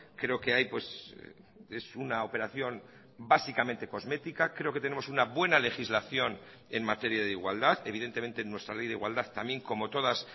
creo que hay esuna operación básicamente cosmética creo que tenemos una buena legislación en materia de igualdad evidentemente nuestra ley de igualdad también como todas